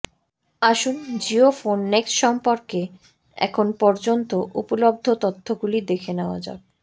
আসুন Jio phone next সম্পর্কে এখন পর্যন্ত উপলব্ধ তথ্যগুলি দেখে নেওয়া যাক